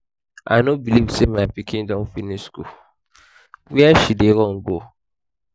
i no believe say your pikin don finish school. where she dey run go?